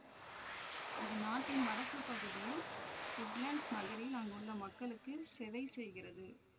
இது நாட்டின் வடக்கு பகுதியில் உட்லண்ட்ஸ் நகரில் அங்குள்ள மக்களுக்கு செவைசெய்கிறது